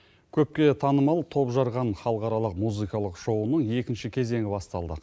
көпке танымал топжарған халықаралық музыкалық шоуының екінші кезеңі басталды